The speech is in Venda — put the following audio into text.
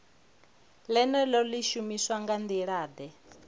ḽeneḽo ḽi shumiswa nga nḓilaḓe